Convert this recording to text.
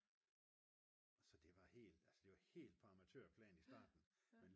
så det var helt altså det var helt på amatørplan i starten